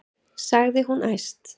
sagði hún æst.